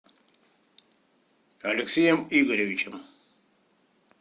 алексеем игоревичем